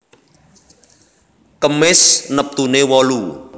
Kemis neptune wolu